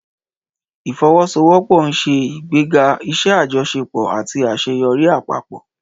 Ìfọwọ́sowọ́pọ̀ ń ṣe ìgbéga iṣẹ́ àjọṣepọ̀ àti àṣeyọrí àpapọ̀.